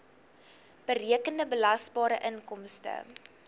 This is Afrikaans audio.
berekende belasbare inkomste